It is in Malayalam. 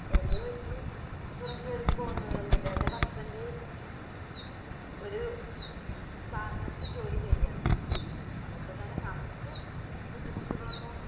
എന്റെ വീട്ടില് പുറം ജോലിക്ക് പോകുന്നവരൊന്നും ഇല്ല. എന്റെ husband ഒരു സ്ഥാപനത്തിൽ ജോലി ചെയ്യാണ് അതുകൊണ്ട് തന്നെ നമ്മുക്ക് ബുദ്ധിമുട്ടുകളൊന്നും